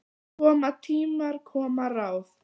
Koma tímar, koma ráð.